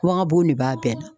de b'a bɛɛ la